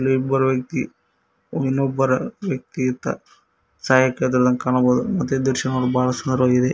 ಇಲ್ಲಿ ಇಬ್ಬರು ವ್ಯಕ್ತಿ ಇನ್ನೊಬ್ಬರ ವ್ಯಕ್ತಿ ಅತ ಸಹಾಯ ಕೇಳುತ್ತಿರುವುದನ್ನು ಕಾಣಬಹುದು ಮತ್ತೆ ಈ ದೃಶ್ಯ ನೋಡಲು ಬಹಳ ಸುಂದರವಾಗಿದೆ.